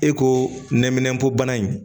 E ko nɛminɛnpo bana in